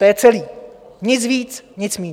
To je celé, nic víc, nic méně.